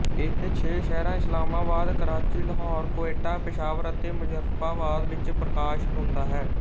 ਇਹ ਛੇ ਸ਼ਹਿਰਾਂ ਇਸਲਾਮਾਬਾਦ ਕਰਾਚੀ ਲਾਹੌਰ ਕੋਇਟਾ ਪੇਸ਼ਾਵਰ ਅਤੇ ਮੁਜ਼ੱਫਰਾਬਾਦ ਵਿੱਚ ਪ੍ਰਕਾਸ਼ਤ ਹੁੰਦਾ ਹੈ